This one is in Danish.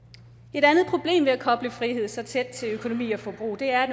et andet problem ved at koble frihed så tæt til økonomi og forbrug er at